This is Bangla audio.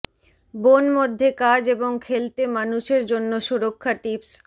বন মধ্যে কাজ এবং খেলতে মানুষের জন্য সুরক্ষা টিপস